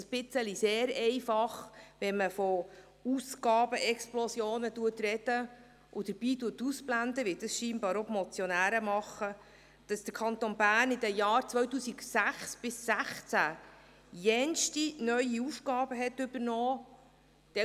Es ist sehr einfach, von Ausgabenexplosionen zu sprechen und dabei auszublenden, wie dies anscheinend die Motionäre tun, dass der Kanton Bern während den Jahren 2006 bis 2016 viele neue Aufgaben übernommen hat.